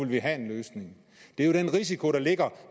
vi have en løsning det er jo den risiko der ligger